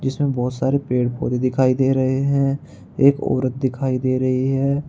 इस में बहुत सारे पेड़ पौधे दिखाई दे रहे हैं एक औरत दिखाई दे रही है।